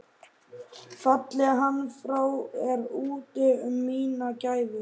Falli hann frá er úti um mína gæfu.